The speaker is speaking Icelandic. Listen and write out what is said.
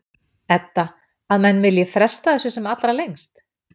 Edda: Að menn vilji fresta þessu sem allra lengst?